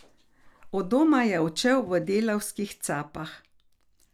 Od doma je odšel v delavskih capah.